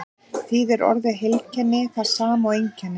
þýðir orðið heilkenni það sama og einkenni